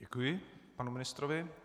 Děkuji panu ministrovi.